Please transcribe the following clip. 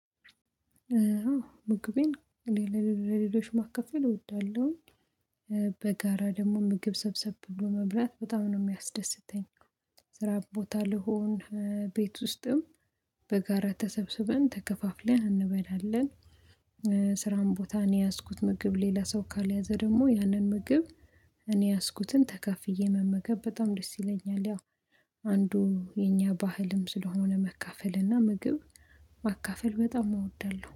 ምግቤን ለሌሎ ለሌሎች ማከፈል እወዳለሁ። በጋራ ደግሞ ምግብ ሰብሰብ ብሎ መብላት በጣም ነው የሚያስደስተኝ። ስራ ቦታ ልሆን ቤት ውስጥም በጋራ ተሰብስበን ተከፋፍለን እንበላለን። ስራም ቦታ እኔ የያዝኩት ምግብ ሌላ ሰው ካልያዘ ደግሞ ያንን ምግብ እኔ ያዝኩትን ተካፍዬ መመገብ በጣም ደስ ይለኛል። ያው አንዱ የኛ ባህልም ስለሆነ መካፈል እና ምግብ ማካፈል በጣም እወዳለሁ